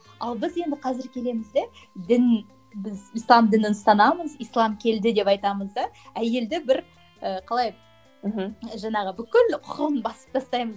ал біз енді қазір келеміз де дін біз ислам дінін ұстанамыз ислам келді деп айтамыз да әйелді бір ііі қалай мхм жаңағы бүкіл құқығын басып тастаймыз